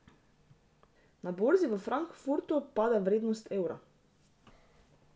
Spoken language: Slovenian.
Na borzi v Frankfurtu pada vrednost evra.